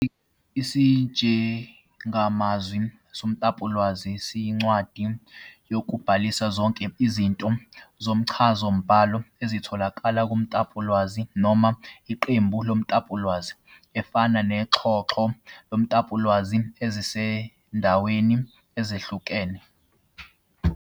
Isijengamazwi somtapowolwazi siyincwadi yokubhalisa zonke izinto zomchazamibhalo ezitholakala kumtapolwazi noma iqembu lemitapolwazi, efana noxhoxho lwemitapolwazi esezindaweni ezihlukene.